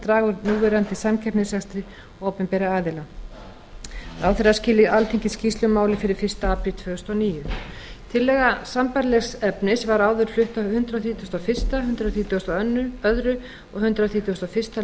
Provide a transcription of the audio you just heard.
draga úr núverandi samkeppnisrekstri opinberra aðila ráðherra skili alþingi skýrslu um málið fyrir fyrsta apríl tvö þúsund og níu tillaga sambærilegs efnis var áður flutt á hundrað þrítugasta og fyrstu hundrað þrítugasta og öðrum og hundrað þrítugasta og fimmta